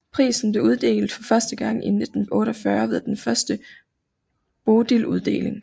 Prisen blev uddelt for første gang i 1948 ved den første Bodiluddeling